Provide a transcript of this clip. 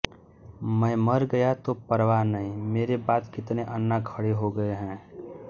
मै मर गया तो परवाह नहीं मेरे बाद कितने अन्ना खड़े हो गए हैं